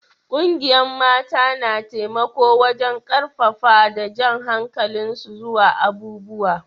Ƙungiyan mata na taimako wajen karfafa da jan hankalin su zuwa abubuwa.